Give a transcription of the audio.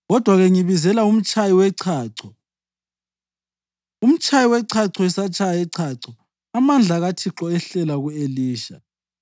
Kodwa-ke ngibizela umtshayi wechacho.” Umtshayi wechacho esatshaya ichacho, amandla kaThixo ehlela ku-Elisha,